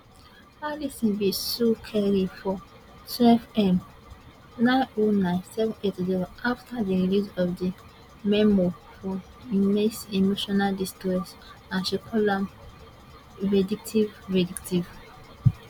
alison bin sue carey for twelve m nine oh nine seven eight zero afta di release of di memoir for immense emotional distress and she call am vindictive vindictive